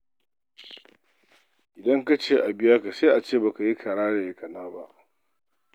Idan ka ce a biya ka, sai a ce ba ka yi kara da yakana ba.